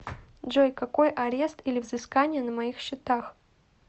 джой какой арест или взыскания на моих счетах